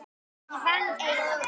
Ég vann eið að þessu.